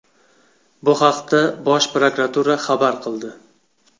Bu haqda Bosh prokuratura xabar qildi .